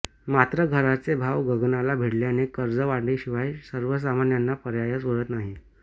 मात्र घरांचे भाव गगनाला भिडल्याने कर्ज काढण्याशिवाय सर्वसामान्यांना पर्यायच उरत नाही